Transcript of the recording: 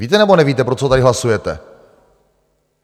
Víte, nebo nevíte, pro co tady hlasujete?